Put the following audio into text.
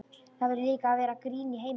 Það verður líka að vera grín í heiminum.